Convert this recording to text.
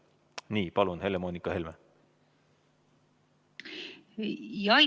Nii, palun, Helle-Moonika Helme!